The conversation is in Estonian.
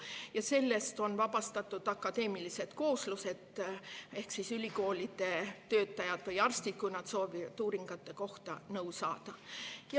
Sellest on vabastatud akadeemilised kooslused ehk ülikoolide töötajad või arstid, kui nad soovivad uuringute kohta nõu saada.